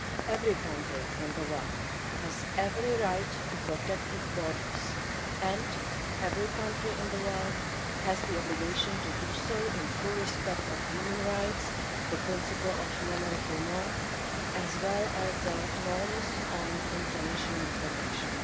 Every country in the world has every right to protect its borders and every country in the world has the obligation to do so in full respect of human rights and the principle of non-refoulement, as well as the norms on international protection.